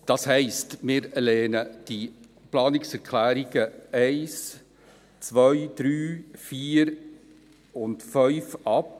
Das heisst: Wir lehnen die Planungserklärungen 1, 2, 3, 4 und 5 ab.